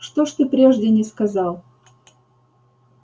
что ж ты прежде не сказал